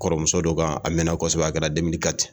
Kɔrɔmuso dɔ kan a mɛnna kɔsɔbɛ a kɛra